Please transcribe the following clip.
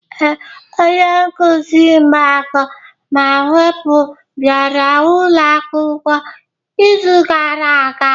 Ee, onye nkuzi mgbakọ na mwepụ bịara ụlọ akwụkwọ izu gara aga.